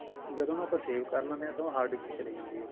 ਜਦੋਂ ਨਾ ਆਪਾਂ save ਕਰ ਲੈਣੇ ਹਾਂ hard disk ਚ ਚਲੀ ਜਾਂਦੀ ਹੈ